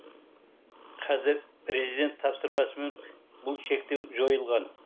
қазір президент тапсырмасымен бұл шектеу жойылған